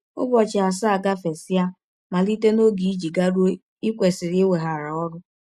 Ụbọchị asaa gafesịa malite n’ọge i ji garụọ i kwesịrị iweghara ọrụ.